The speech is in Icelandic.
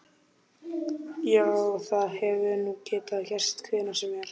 Já, það hefði nú getað gerst hvenær sem er.